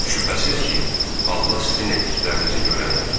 Şübhəsiz ki, Allah sizin etdiklərinizi görəndir.